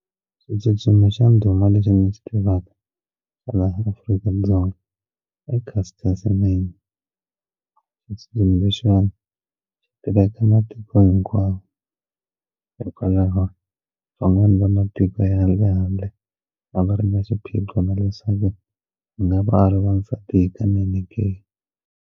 Xitsutsumi xa ndhuma lexi ni xi tivaka laha Afrika-Dzonga i Caster Semenya i xitsutsumi lexiwani xi tiveka matiko hinkwavo hikwalaho van'wani va matiko ya le handle a va ri na xiphiqo na leswaku a nga va a ri wasati hikanene ke?